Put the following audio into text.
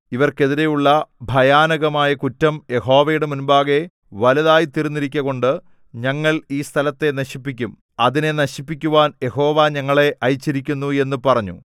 ഇവർക്കെതിരെയുള്ള ഭയാനകമായ കുറ്റം യഹോവയുടെ മുമ്പാകെ വലുതായിത്തീർന്നിരിക്കകൊണ്ട് ഞങ്ങൾ ഈ സ്ഥലത്തെ നശിപ്പിക്കും അതിനെ നശിപ്പിക്കുവാൻ യഹോവ ഞങ്ങളെ അയച്ചിരിക്കുന്നു എന്നു പറഞ്ഞു